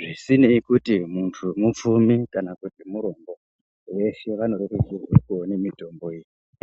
zvisinei kuti muntu mupfumi kana kuti murombo veshe vanorerukirwe kuone mitombo iyi.